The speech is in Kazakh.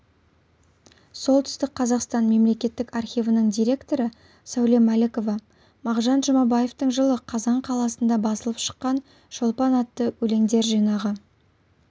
солтүстік қазақстан мемлекеттік архивінің директоры сәуле мәлікова мағжан жұмабаевтың жылы қазан қаласында басылып шыққан шолпан атты өлеңдер жинағы